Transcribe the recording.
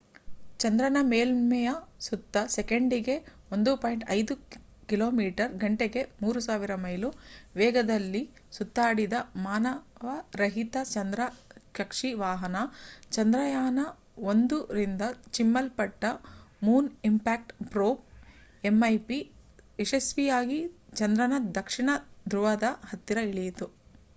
ಚಂದ್ರನ ಮೇಲ್ಮೆಯ ಸುತ್ತ ಸೆಕೆಂಡಿಗೆ 1.5 ಕಿಮಿಗಂಟೆಗೆ 3000 ಮೈಲು ವೇಗದಲ್ಲಿ ಸುತ್ತಾಡಿದ ಮಾನವರಹಿತ ಚಂದ್ರ ಕಕ್ಷಿ ವಾಹನ ಚಂದ್ರಯಾನ-1ರಿಂದ ಚಿಮ್ಮಲ್ಪಟ್ಟ ಮೂನ್ ಇಂಪ್ಯಾಕ್ಟ್ ಪ್ರೋಬ್mip ಯಶಸ್ವಿಯಾಗಿ ಚಂದ್ರನ ದಕ್ಷಿಣ ಧ್ರುವದ ಹತ್ತಿರ ಇಳಿಯಿತು